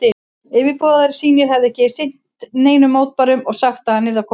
Yfirboðarar sínir hefðu ekki sinnt neinum mótbárum og sagt, að hann yrði að koma heim.